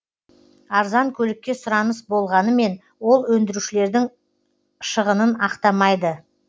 арзан көлікке сұраныс болғанымен ол өндірушілердің шығынын ақтамайды